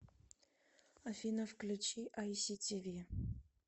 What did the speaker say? афина включи ай си ти ви